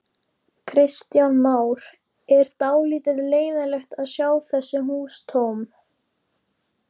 Kristján Már: Er dálítið leiðinlegt að sjá þessi hús tóm?